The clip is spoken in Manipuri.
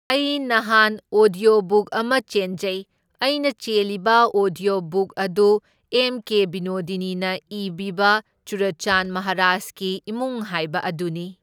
ꯑꯩ ꯅꯍꯥꯟ ꯑꯣꯗ꯭ꯌꯣ ꯕꯨꯛ ꯑꯃ ꯆꯦꯟꯖꯩ, ꯑꯩꯅ ꯆꯦꯜꯂꯤꯕ ꯑꯣꯗ꯭ꯌꯣ ꯕꯨꯛ ꯑꯗꯨ ꯑꯦꯝ ꯀꯦ ꯕꯤꯅꯣꯗꯤꯅꯤꯅ ꯏꯕꯤꯕ ꯆꯨꯔꯆꯥꯟ ꯃꯍꯥꯔꯥꯁꯀꯤ ꯏꯃꯨꯡ ꯍꯥꯏꯕ ꯑꯗꯨꯅꯤ꯫